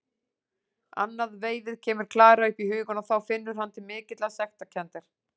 Annað veifið kemur Klara upp í hugann og þá finnur hann til mikillar sektarkenndar.